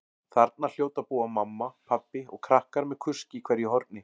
Þarna hljóta að búa mamma, pabbi og krakkar með kusk í hverju horni.